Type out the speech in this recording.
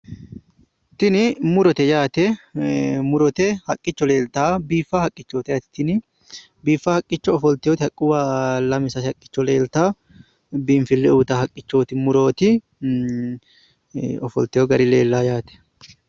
Tini murote yaate, murote haqqicho leltawo? biiffaa haqqichooti Yaate tini biiffaa haqqicho ofoltioti haqquwa lame sase Haqqicho leelitawo biinfile uuytawo haqqichooti(murooti) Ofotiyo gari leelayo yaate.